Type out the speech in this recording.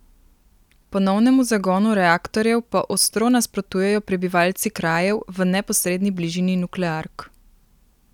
Ponovnemu zagonu reaktorjev pa ostro nasprotujejo prebivalci krajev v neposredni bližini nukleark.